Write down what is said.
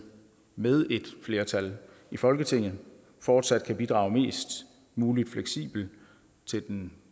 med et flertal i folketinget fortsat kan bidrage mest muligt fleksibelt til den